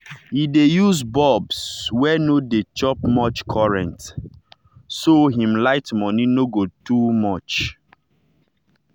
he dey use bulbs wey no dey chop much current so him light money no go too much.